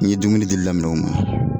N ye dumuni di li daminɛ u ma.